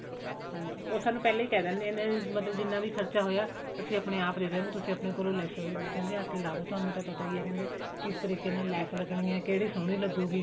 ਹਾਨੀ ਉਹ ਸਾਨੂੰ ਪਹਿਲਾਂ ਹੀ ਕਿਹ ਦਿੰਦੇ ਨੇ ਮਤਲਬ ਜਿੰਨਾ ਵੀ ਖਰਚਾ ਹੋਇਆ ਅਸੀਂ ਆਪਣੇ ਆਪ ਲੈਸਾਂ ਲੁਸਾਂ ਲਿਆ ਕੇ ਲਾਦੋ ਤੁਹਾਨੂੰ ਤਾਂ ਪਤਾ ਹੀ ਹੈ ਕਹਿੰਦੇ ਕਿਸ ਤਰੀਕੇ ਨਾਲ ਲੈਸ ਲੱਗਣੀ ਕਿਹੜੀ ਸੋਹਣੀ ਲੱਗੂਗਈ